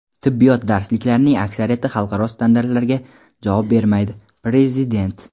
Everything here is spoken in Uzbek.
"Tibbiyot darsliklarining aksariyati xalqaro standartlarga javob bermaydi" - prezident.